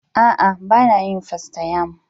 A'a, ba na yin fastayam.